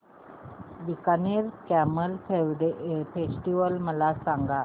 Bikaner camel festival मला सांग